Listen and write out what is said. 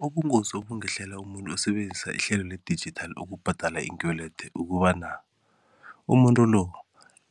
Ubungozi obungehlela umuntu osebenzisa ihlelo le-digital ukubhadala iinkwelede ukobana umuntu lo